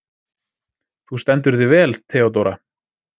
Þú stendur þig vel, Theódóra!